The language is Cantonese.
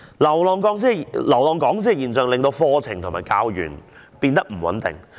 流浪講師的現象增加課程和教員的不穩定性。